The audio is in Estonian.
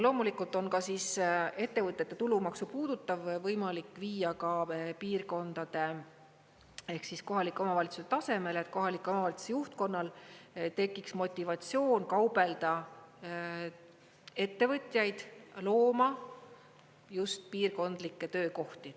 Loomulikult on ka ettevõtete tulumaksu puudutav võimalik viia piirkondade ehk siis kohaliku omavalitsuse tasemele, et kohalike omavalitsuste juhtkonnal tekiks motivatsioon kaubelda ettevõtjaid looma just piirkondlikke töökohti.